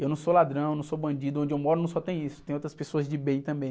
Eu não sou ladrão, eu não sou bandido, onde eu moro não só tem isso, tem outras pessoas de bem também.